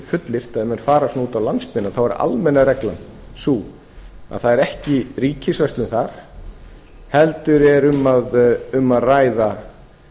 fullyrt að ef menn fara út á landsbyggðina þá er almenna reglan sú að það er ekki ríkisverslun þar heldur er um að ræða